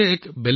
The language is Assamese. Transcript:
হয় হয়